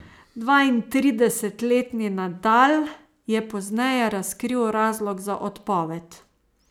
Dvaintridesetletni Nadal je pozneje razkril razlog za odpoved.